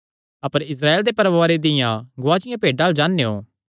अपर Israel दे परवारे दियां गुआचिआं भेड्डां अल्ल जान्नेयों